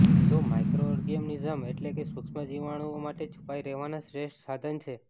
જે માઇક્રોઓર્ગનિઝમ એટલે કે સૂક્ષ્મ જીવાણઓ માટે છુપાઈ રહેવાનાં શ્રેષ્ઠ સાધન છે